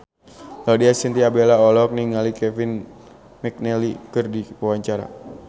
Laudya Chintya Bella olohok ningali Kevin McNally keur diwawancara